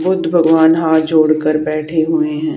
बुद्ध भगवान हाथ जोड़कर बैठे हुए हैं।